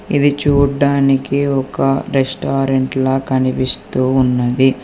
ఇది చూడ్డానికి ఒక రెస్టారెంట్ లా కనిపిస్తు ఉన్నది.